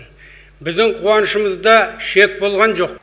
біздің қуанышымызда шек болған жоқ